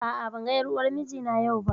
A'a, ban ga ƴar uwar mijina yau ba